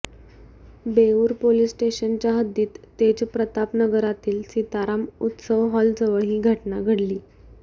Beur police स्टेशनच्या हद्दीत तेजप्रताप नगरातील सीताराम उत्सव हॉलजवळ ही घटना घडली